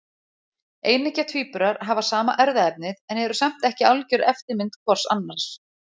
Eineggja tvíburar hafa sama erfðaefnið en eru samt ekki algjör eftirmynd hvors annars.